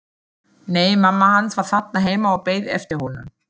Nei, mamma hans var þarna heima og beið eftir honum.